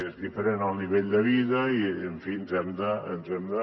és diferent el nivell de vida i en fi ens hem de